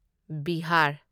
Bihar